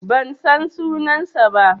Ban san sunansa ba.